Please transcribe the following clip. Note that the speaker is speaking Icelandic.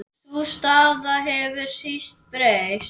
Sú staða hefur síst breyst.